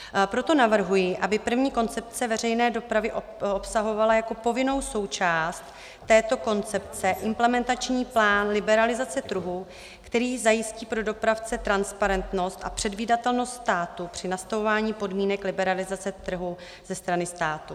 Proto navrhuji, aby první koncepce veřejné dopravy obsahovala jako povinnou součást této koncepce implementační plán liberalizace trhu, který zajistí pro dopravce transparentnost a předvídatelnost státu při nastavování podmínek liberalizace trhu ze strany státu.